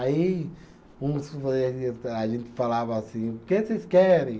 Aí, uns a gente falava assim, o que vocês querem?